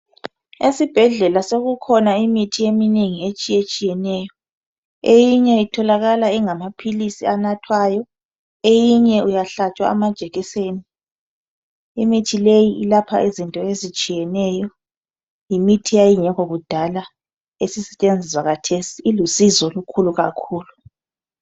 Esibhedlela sokukhona imithi eminengi etshiye tshiyeneyo eyinye itholakala ingamaphilisi anathwayo eyinye uyahlatshwa amajekiseni imithi leyi ilapha izifo ezitshiyeneyo yimithi eyayingekho kudala esisetshenziswa kathesi ilusizo olukhulu kakhulu.